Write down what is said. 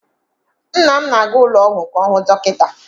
Nna m na-aga ụlọọgwụ ka ọ hụ dọkịta.